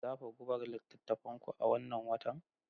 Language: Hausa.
Za ku buga littafin ku a wannan watan?